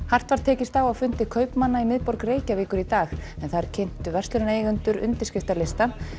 hart var tekist á á fundi kaupmanna í miðborg Reykjavíkur í dag en þar kynntu verslunareigendur undirskriftalista